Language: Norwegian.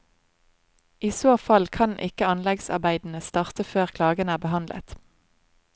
I så fall kan ikke anleggsarbeidene starte før klagen er behandlet.